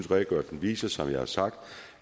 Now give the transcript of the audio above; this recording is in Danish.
redegørelsen viser som jeg har sagt